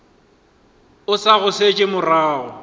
o sa go šetše morago